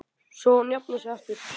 Svo hún jafni sig aftur.